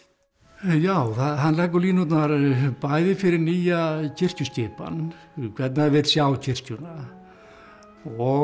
já hann leggur línurnar bæði fyrir nýja kirkjuskipan hvernig hann vill sjá kirkjuna og